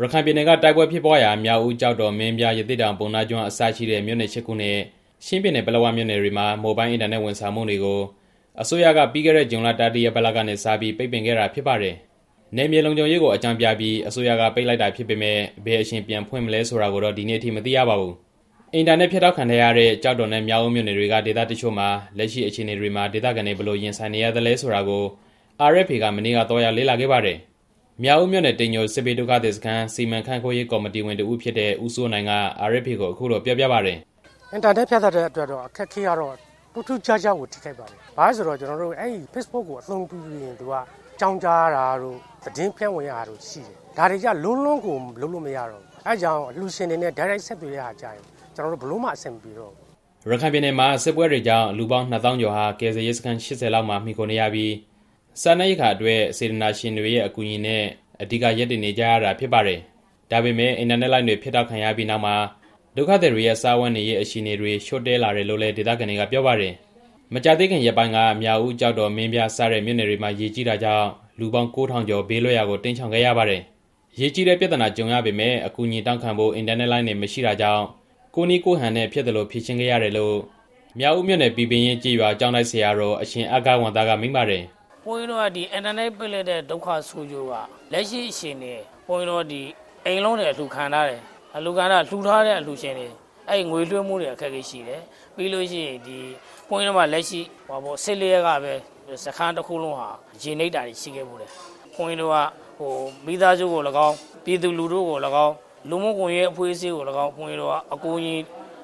ရခိုင်ပြည်နယ်က တိုက်ပွဲဖြစ်ပွားရာ မြောက်ဦး၊ ကျောက်တော်၊ မင်းပြား၊ ရသေ့တောင်၊ ပုဏ္ဏားကျွန်း အစရှိတဲ့ မြို့နယ် ရှစ်ခုနဲ့ ချင်းပြည်နယ် ပလက်ဝမြို့နယ်တွေမှာ မိုဘိုင်းအင်တာနက် ဝန်ဆောင်မှုတွေကို အစိုးရက ပြီးခဲ့တဲ့ ဇွန်လ တတိယပတ်လောက်ကနေစပြီး ပိတ်ပင်ခဲ့တာဖြစ်ပါတယ်။ နယ်မြေလုံခြုံရေးကိုအကြောင်းပြပြီး အစိုးရကပိတ်လိုက်တာဖြစ်ပေမယ့် ဘယ်အချိန်ပြန်ဖွင့် မလဲဆိုတာကို ဒီနေ့အထိ မသိရပါဘူး။ အင်တာနက်ဖြတ်တောက်ခံထားရတဲ့ ကျောက်တော်နဲ့ မြောက်ဦးမြို့နယ်တွေက ဒေသတစ်ချို့မှာ လက်ရှိ အခြေအနေမှာ ဒေသခံတွေ ဘယ်လိုရင်ဆိုင်နေရသလဲဆိုတာကို RFA က မနေ့က သွားရောက်လေ့လာခဲ့ပါတယ်။ မြောက်ဦးမြို့နယ် တိမ်ညိုစစ်ဘေးဒုက္ခသည်စခန်း စီမံခန့်ခွဲရေး ကော်မတီဝင် ဦးစိုးနိုင်က RFA ကို အခုလို ပြောပြပါတယ်။ "အင်တာနက်ဖြတ်တောက်ထားတဲ့အတွက်တော့ အခက်အခဲက ထူးထူးခြားခြားကို ထိခိုက်ပါတယ်။ ဘာဖြစ်လို့လဲဆိုလို့ရှိရင် ဖေ့စ်ဘွတ်ကို အသုံးပြုပြီးရင် ကျွန်တော်တို့က အကြောင်းကြားရတာတို့၊ သတင်းဖြန့်ဝေရတာတို့ရှိတယ်။ ဒါတွေကို လုံးဝလုပ်လို့မရတော့ဘူး။ အဲဒါကြောင့် အလှူရှင်တွေနဲ့ တိုက်ရိုက်ဆက်သွယ်ဖို့ ကျွန်တော်တို့ လုံးဝအဆင်မပြေတော့ဘူး" ရခိုင်ပြည်နယ်မှာ စစ်ပွဲတွေကြောင့် လူပေါင်း နှစ်သောင်းကျော်ဟာ ကယ်ဆယ်ရေးစခန်း ၈၀ လောက်မှာ မှီခိုနေရပြီး စားနပ်ရိက္ခာအတွက် စေတနာရှင်တွေရဲ့အကူအညီနဲ့ အဓိက ရပ်တည်နေကြရတာဖြစ်ပါတယ်။ ဒါပေမဲ့ အင်တာနက်လိုင်းတွေ ဖြတ်တောက်ခံရပြီးတဲ့နောက်မှာ ဒုက္ခသည်တွေရဲ့စားဝတ်နေရေး အခြေအနေတွေ ချို့တဲ့လာတယ်လို့လည်း ဒေသခံတွေကပြောပါတယ်။ မကြာသေးခင် ရက်ပိုင်းက မြောက်ဦး၊ ကျောက်တော်၊ မင်းပြား စတဲ့မြို့နယ်တွေမှာ ရေကြီးတာကြောင့် လူပေါင်း ၉၀၀၀ ကျော်ဘေးလွတ်ရာကို တိမ်းရှောင်ခဲ့ကြရပါတယ်။ ရေကြီးတဲ့ပြဿနာ ကြုံရပေမယ့် အကူအညီတောင်းခံဖို့ အင်တာနက်လိုင်းတွေ မရှိတာကြောင့် ကိုယ့်နည်းကိုယ့်ဟန်နဲ့ဖြစ်သလို ဖြေရှင်းခဲ့ရတယ်လို့ မြောက်ဦးမြို့နယ် ပီပင်ရင်းကျေးရွာ ကျောင်းတိုက် ဆရာတော် အရှင်အဂ္ဂဝံသက မိန့်ပါတယ်။ "ဒီအင်တာနက် ပိတ်လိုက်တဲ့ဒုက္ခ ဆိုးကျိုးက ဘုန်းကြီးတို့ လက်ရှိအခြေအနေမှာ အိမ်တွေအလှူခံထား တယ်။ လှူထားတဲ့အလှူရှင်တွေ ငွေလွှဲဖို့အတွက် အခက်အခဲရှိတယ်။ နောက်ပြီးတော့ ပြီးခဲ့တဲ့ ၁၄ ရက်ကပဲ စခန်းတစ်ခုလုံး ရေနစ်တာတွေရှိခဲ့တယ်။ ဘုန်းကြီးတို့က မိသားစုကိုသော်လည်းကောင်း၊ ပြည်သူလူထုကိုသော်လည်းကောင်း၊ လူမှုကွန်ရက်အဖွဲ့အစည်းကိုသော်လည်းကောင်း အကူအညီ